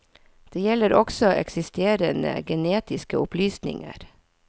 Det gjelder også eksisterende genetiske opplysninger.